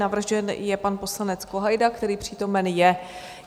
Navržen je pan poslanec Kohajda, který přítomen je.